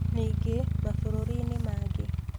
Ningĩ, mabũrũri-inĩ mangĩ